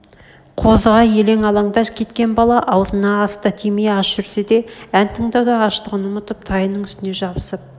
қозыға елең-алаңда кеткен бала аузына ас та тимей аш жүрсе де ән тыңдауда аштығын ұмытып тайының үстіне жабысып